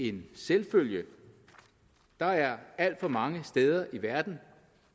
en selvfølge der er alt for mange steder i verden